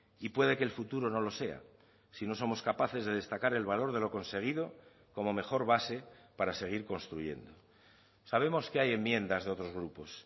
y puede que el futuro no lo sea si no somos capaces de destacar el valor de lo conseguido como mejor base para seguir construyendo sabemos que hay enmiendas de otros grupos